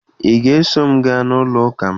Ị ga-eso m gaa n'ụlọụka m